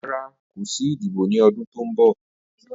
Rara, ko si idibo ni ọdun to nbọ.